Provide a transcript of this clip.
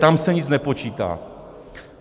Tam se nic nepočítá.